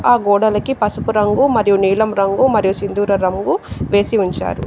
ఆ గోడలకి పసుపు రంగు మరియు నీలం రంగు మరియు సింధూర రంగు వేసి ఉంచారు.